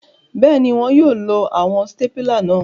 Bẹẹni, wọn yóò lo awọn stapila náà